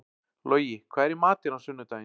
Logi, hvað er í matinn á sunnudaginn?